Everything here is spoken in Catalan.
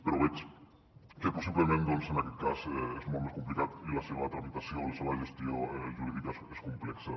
però veig que possiblement doncs en aquest cas és molt més complicat i la seva tramitació la seva gestió jurídica és complexa